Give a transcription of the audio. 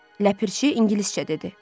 Ləpirçi ingiliscə dedi.